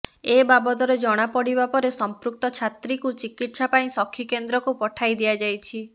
ଏବାବଦରେ ଜଣାପଡ଼ିବା ପରେ ସଂପୃକ୍ତ ଛାତ୍ରୀକୁ ଚିକିତ୍ସା ପାଇଁ ସଖୀ କେନ୍ଦ୍ରକୁ ପଠାଇ ଦିଆଯାଇଛି